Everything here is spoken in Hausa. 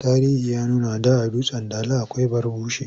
Tarihi ya nuna da a Dutsen Dala akwai Barbushe.